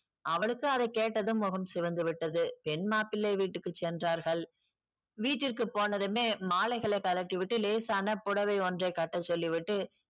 அவனுக்கு அதை கேட்டது முகம் சிவந்து விட்டது பெண் மாப்பிள்ளை வீட்டுக்கு சென்றார்கள் வீட்டிற்கு போனதுமே மாலைகளை கழட்டிவிட்டு லேசான புடவை ஒன்றை கட்ட சொல்லிவிட்டு